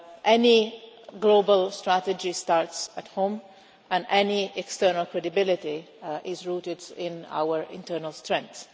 Any global strategy starts at home and any external credibility is rooted in our internal strength.